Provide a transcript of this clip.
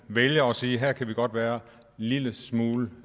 vælger at sige at her kan vi godt være en lille smule